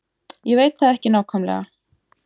Ég veit það ekki nákvæmlega.